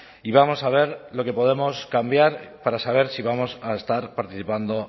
y vamos a ver lo que podemos cambiar para saber si vamos a estar participando